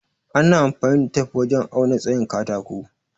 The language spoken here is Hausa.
Ana amfani da tif wajen auna tsayin katako.